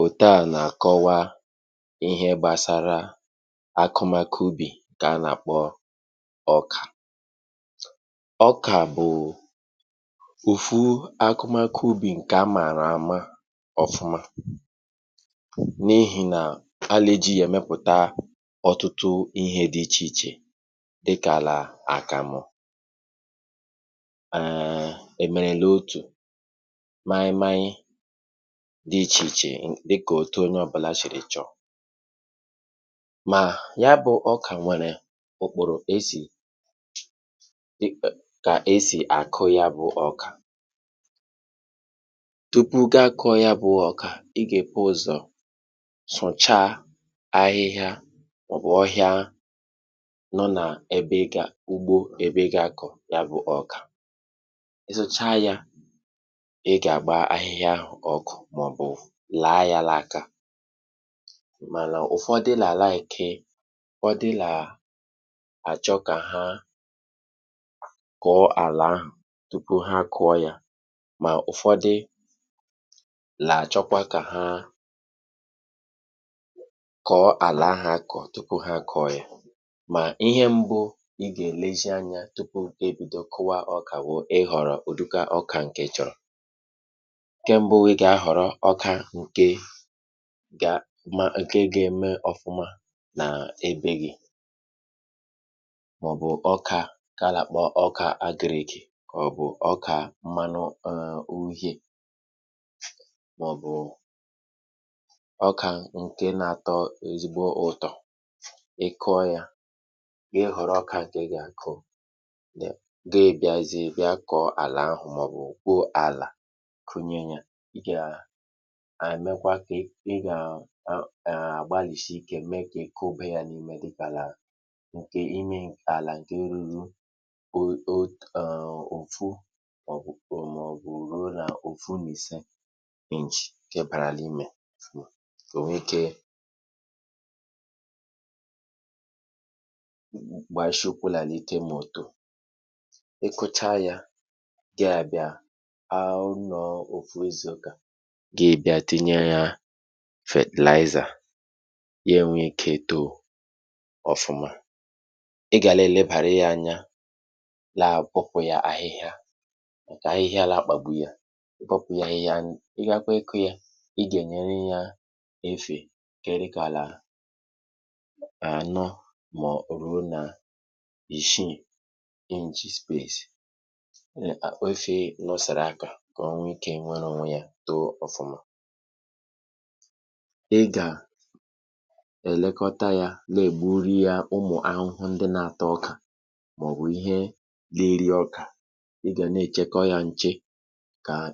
Ihe a e ji na-akọwa, bụ̀ otu e si akùpụ̀tà ọkà. um Ọkà bụ otu n’ime ihe ubi ndị kacha mkpa n’obodo. Ọ̀ bụ̀ ihe a màara ama, n’ihi na mgbe a kụchara ya, ọ na-emepụta ọtụtụ ihe dị iche iche, um dịka àkàmụ̀ na ihe oriri ndị ọzọ. Ọ̀ bụkwa ihe ubi ndị mmadụ niile n’obodo na-akụkarị. Tupu ị kụọ ọkà, ị ga-ebido site n’ị sachapụ̀ ahịhịa na ọhịa n’ala ebe ị ga-akụ. um Ụfọdụ nà-ahọrọ ị gbaa ahịhịa ọkụ, ebe ụfọdụ ndị ọzọ nà-ahọrọ ị tụgharịa ma ọ bụ gwuo ala tupu ha akụọ. Ihe mbụ ị ga-eme, tupu ị bido ịkụ ọkà, bụ ịhọrọ mkpụrụ ọkà dị mma, nke ga-eto nke ọma n’ala gị. um Ụfọdụ nà-ahọrọ ọkà agrà (agric maize), ụfọdụ ọzọ ọkà mmanụ̀ uhie (yellow maize), ma ọ bụ ọkà nke na-atọ ụtọ. Mgbe ị họrọchara mkpụrụ ahụ, ị ga-akwadebe ala nke ọma um sachaa, gwuo, kwụọ ya nke ọma ka ọkà wee too nke ọma. Ụzọ ala kwesịrị ịdị mma ma sie ike, dịkarịan ala site n’ihe dị ka otu ruo n’ìse inch, um dabere n’ụdị ala ahụ. Ọ bụrụ na o kwere mee, um i nwere ike itinye fetàlaịzà (fertilizer) ka ọ mee ka ọkà too nke ọma. Mgbe i kụchara, ị ga na-elekọta ubi ahụ mgbe niile. um Sachapụ̀ ahịhịa mgbe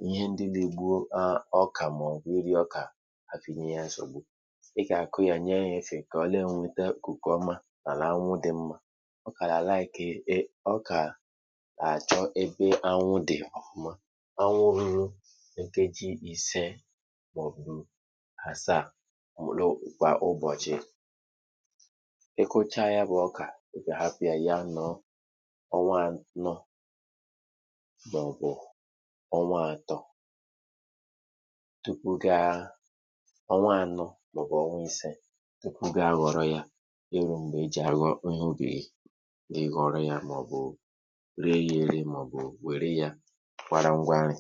niile ka ọkà nwee ohere na ikuku iji too nke ọma. Ị kwesịkwara ịkpụ ájà gburugburu mgbọrọgwụ ya, ka ikuku wee bata mfe ma kwado mgbọrọgwụ ya. Ị ga na-elekọta ya, ka ụmụ̀ ahụhụ̀ ma ọ bụ ihe ndị na-eri ọkà ghara imebi ya. um N’oge ahụ, i ga na-enyocha ya mgbe niile, iji hụ na ọ na-eto nke ọma. Ọkà chọrọ anwụ, ya mere họrọ ebe anwụ na-enwu nke ọma. um Ọ na-ewe ihe dị ka ọnwa atọ ma ọ bụ ọnwa anọ, ụfọdụ oge ruo ọnwa ise, um tupu ọkà tozuru ma bụrụ nke a ga-akụcha. Mgbe oge owuwe ihe ubi bịarutere, ị nwere ike ịkpụ ọkà ahụ, um kpoo ya n’anwụ, ree ya n’ahịa, ma ọ bụ jiri ya mee nri n’ụlọ. Ụfọdụ ndị nà-akpọkwa ya àkàmụ̀, ma ọ bụ na-edobe ya maka echi. Mgbe ọkà ahụ gwụchara ịkụcha n’anwụ, i nwekwara ike ire ya, um iji nweta obere ego maka ihe ndị dị mkpa kwa ụbọchị. Ụfọdụ ndị ọzọ nà-edobe ya maka iri n’ụlọ, n’ihi na ọ bụ nri a na-akpọkarị n’obodo.